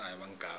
umabinzana